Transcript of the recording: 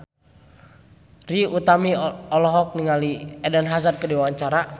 Trie Utami olohok ningali Eden Hazard keur diwawancara